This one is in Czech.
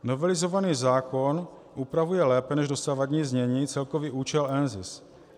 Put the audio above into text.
Novelizovaný zákon upravuje lépe než dosavadní znění celkový účel NZIS.